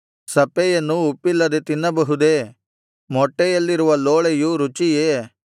ಸಪ್ಪೆಯನ್ನು ಉಪ್ಪಿಲ್ಲದೆ ತಿನ್ನಬಹುದೇ ಮೊಟ್ಟೆಯಲ್ಲಿರುವ ಲೋಳೆಯು ರುಚಿಯೇ